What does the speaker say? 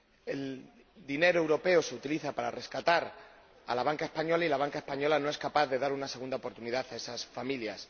El dinero europeo se utiliza para rescatar la banca española y la banca española no es capaz de dar una segunda oportunidad a esas familias.